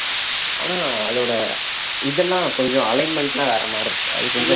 ஆனா அதோட இதெல்லாம் கொஞ்சம் alignment எல்லாம் வேற மாதிரி இருக்கு அது கொஞ்சம்